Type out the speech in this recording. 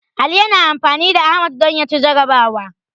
Ali yana amfani da Ahmad don ya ci jarrabawa.